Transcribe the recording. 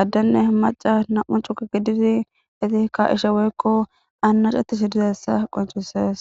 addenne maca nam7u cuka gididi iti ka ishe woykko annacettis dizessa qoncusees.